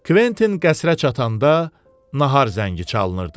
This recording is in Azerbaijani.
Kventin qəsrə çatanda nahar zəngi çalınırdı.